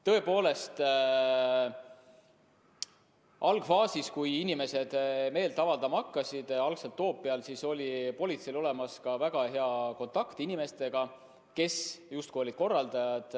Tõepoolest, algfaasis, kui inimesed meelt avaldama hakkasid, algselt Toompeal, oli politseil väga hea kontakt inimestega, kes justkui olid korraldajad.